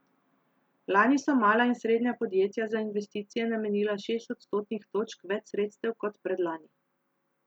Lani so mala in srednja podjetja za investicije namenila šest odstotnih točk več sredstev kot predlani.